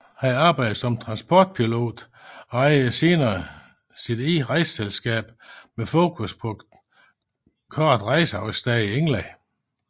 Han arbejdede som transportpilot og ejede senere sit eget rejseselskab med fokus på korte rejseafstande i England